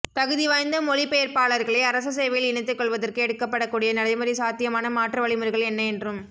தகுதிவாய்ந்த மொழி பெயர்ப்பாளர்களை அரச சேவையில் இணைத்துக் கொள்வதற்கு எடுக்கப்படக்கூடிய நடைமுறைச் சாத்தியமான மாற்று வழிமுறைகள் என்ன என்றும்